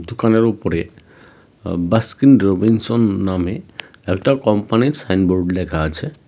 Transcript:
দোকানের উপরে আঃ বাসকিন রবিনসন না-নামে একটা কোম্পানির সাইনবোর্ড লেখা আছে .